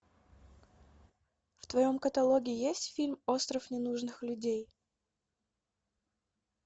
в твоем каталоге есть фильм остров ненужных людей